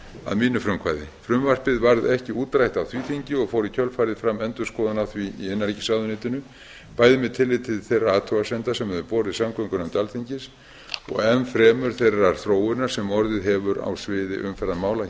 að mínu frumkvæði frumvarpið varð ekki útrætt á því þingi og fór í kjölfarið fram endurskoðun á því í innanríkisráðuneytinu bæði með tilliti til þeirra athugasemda sem höfðu borist samgöngunefnd alþingis og enn fremur þeirrar þróunar sem orðið hefur á sviði umferðarmála hér á landi